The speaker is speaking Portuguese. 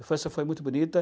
A infância foi muito bonita.